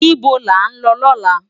Nibó lá n lò lòlá?